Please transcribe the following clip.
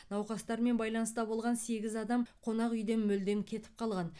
науқастармен байланыста болған сегіз адам қонақ үйден мүлдем кетіп қалған